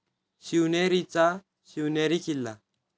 शिवनेरीचा Shivneri Killa